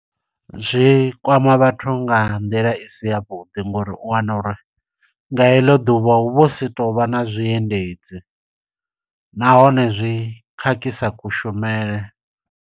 Zwi kwama vhathu nga nḓila i si ya vhuḓi, ngo uri u wana uri nga heḽo ḓuvha hu vho si tovha na zwiendedzi, nahone zwi khakhisa kushumele.